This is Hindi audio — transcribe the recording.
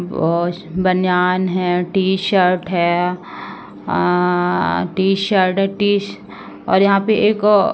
बहोत बनियान है टी शर्ट है। अ- टी शर्ट है। टी श- और यहाँ पे एक --